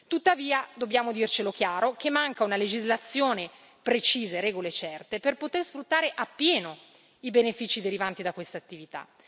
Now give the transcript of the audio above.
Tuttavia, dobbiamo dircelo chiaro che mancano una legislazione precisa e regole certe per poter sfruttare appieno i benefici derivanti da questa attività.